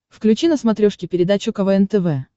включи на смотрешке передачу квн тв